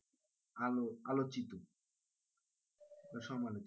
আলো আলো আলোচিত বা সমালোচিত।